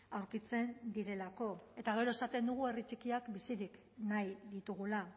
aurkitzen direlako eta gero esaten dugu herri txikiak bizirik nahi ditugula